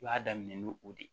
I b'a daminɛ n'o o de ye